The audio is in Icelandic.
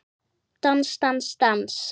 Dans, dans, dans.